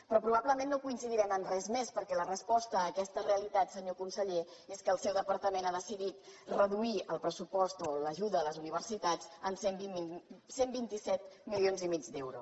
però probablement no coincidirem en res més perquè la resposta en aquesta realitat senyor conseller és que el seu departament ha decidit reduir el pressupost o l’ajuda a les universitats en cent i vint set milions i mig d’euro